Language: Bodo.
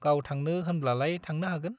गाव थांनो होनब्लालाय थांनो हागोन।